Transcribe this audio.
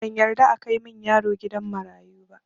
Ban yarda akai min yaro gidan marayu ba